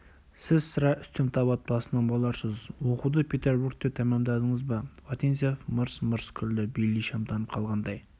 сіз сірә үстем тап отбасынан боларсыз оқуды петербургте тәмәмдадыңыз ба вотинцев мырс-мырс күлді бейли шамданып қалғандай